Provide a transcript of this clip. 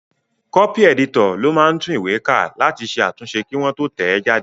Kọ́pì ẹ̀dítọ̀ ló máa ń tún ìwé ká láti ṣe àtúnṣe kí wọ́n tó tẹ̀ ẹ́ jáde